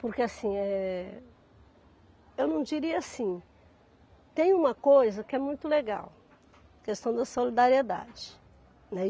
Porque assim, eh, eu não diria assim, tem uma coisa que é muito legal, questão da solidariedade, né?